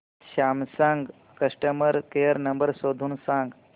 Samsung customer care number शोधून सांग